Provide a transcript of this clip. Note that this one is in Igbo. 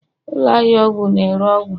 ụlọ ahịa ọgwụ na-ere ọgwụ